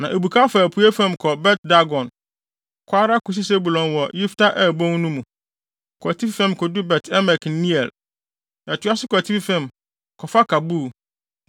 na ebukaw fa apuei fam kɔ Bet-Dagon, kɔ ara kosi Sebulon wɔ Yifta-El bon no mu, kɔ atifi fam kodu Bet-Emek ne Neiel. Ɛtoa so kɔ atifi fam, kɔfa Kabul,